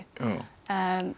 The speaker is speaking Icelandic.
en